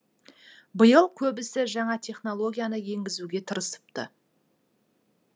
биыл көбісі жаңа технологияны енгізуге тырысыпты